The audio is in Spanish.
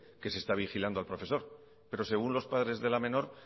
que se está vigilando al profesor pero según los padres de la menor